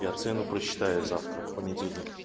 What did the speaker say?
я цену просчитаю завтра в понедельник